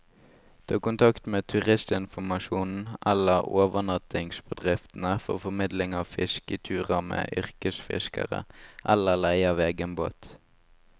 Ta kontakt med turistinformasjonen eller overnattingsbedriftene for formidling av fisketurer med yrkesfiskere, eller leie av egen båt.